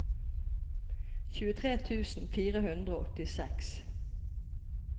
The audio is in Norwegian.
tjuetre tusen fire hundre og åttiseks